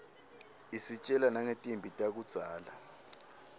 isitjela nangetimphi takudzala